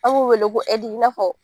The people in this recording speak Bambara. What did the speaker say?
An m'o wele ko i n'a fɔ